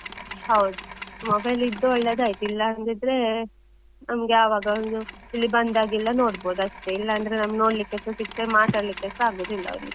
ಹೌದು. mobile ಇದ್ದು ಒಳ್ಳೆದಾಯ್ತು ಇಲ್ಲ ಅಂದಿದ್ರೆ, ನಮ್ಗೆ ಯಾವಾಗ ಒಂದು ಇಲ್ಲಿ ಬಂದಾಗೆಲ್ಲ ನೋಡ್ಬೋದಷ್ಟೇ. ಇಲ್ಲ ಅಂದ್ರೆ ನಮ್ಗೆ ನೋಡ್ಲಿಕ್ಕೆ ಸಿಗ್ದೆ ಮಾತಾಡ್ಲಿಕ್ಕೆಸ ಆಗೋದಿಲ್ಲ ಅವ್ರಿಗೆ.